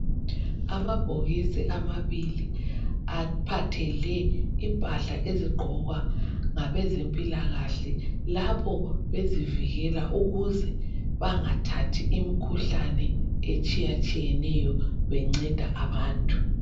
Amabhokisi amabili aphathele impahla ezigqokwa ngabezempilakahle lapho bezivikela ukuze bangathathi imikhuhlane etshiyetshiyeneyo benceda abantu.